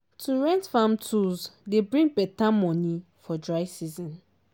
to rent farm tools dey bring me beta money for dry season.